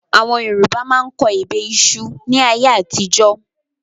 Àwọn Yorùbá máa ń kọ ebè ìṣù ni ayé àtijọ́